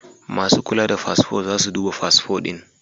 Masu kula da fasfo za su duba fasfo ɗin.